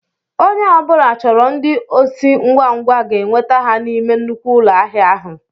Ònye ọbula chọrọ ndị osi ngwa ngwa ga enweta ha n'ime nnukwu ụlọ ahịa ahụ.